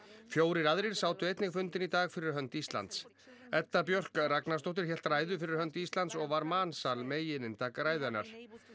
fjórir aðrir sátu einnig fundinn í dag fyrir hönd Íslands Edda Björk Ragnarsdóttir hélt ræðu fyrir hönd Íslands og var mansal megininntak ræðu hennar